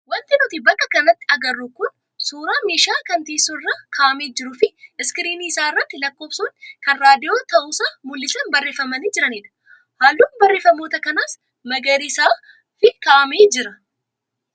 Wanti nuti bakka kanatti agarru kun suuraa meeshaa kan teessoo irra kaa'amee jiruu fi iskiriinii isaa irratti lakkoofsonni kan raadiyoo ta'uusaa mul'isan barreeffamanii jiranidha. Halluun barreeffamoota kanaas magariisaa fi kaa'amee jira.